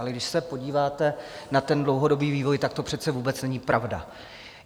Ale když se podíváte na ten dlouhodobý vývoj, tak to přece vůbec není pravda.